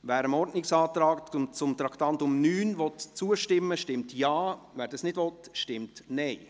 Wer dem Ordnungsantrag zum Traktandum 9 zustimmen will, stimmt Ja, wer dies nicht will, stimmt Nein.